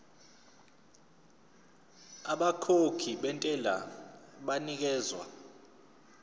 abakhokhi bentela banikezwa